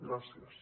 gràcies